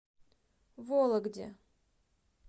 вологде